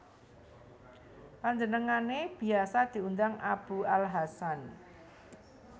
Panjenengane biasa diundang Abu al Hasan